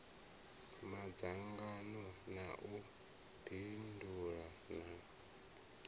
madzhango na u bindula na